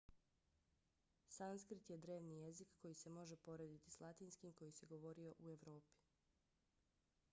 sanskrit je drevni jezik koji se može porediti s latinskim koji se govorio u evropi